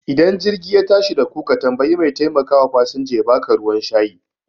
Ida jirgi ya tashi daku ka tambayi mai taimakawa fasanja yaba ka ruwan shayi